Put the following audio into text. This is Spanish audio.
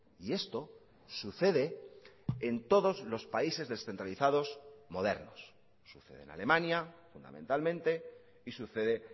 y esto sucede en todos los países descentralizados modernos sucede en alemania fundamentalmente y sucede